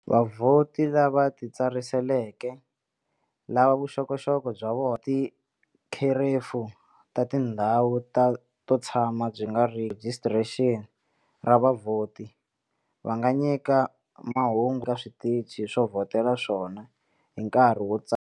Vavhoti lava titsariseleke, lava vuxokoxoko bya vona ti kherefu ta tindhawu to tshama byi nga rhijisitara ra vavhoti, va nga nyika mahungu ka switichi swo vhotela swa vona hi nkarhi wa ntsariso.